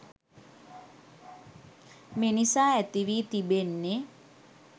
මිනිසා ඇතිවී තිබෙන්නෙ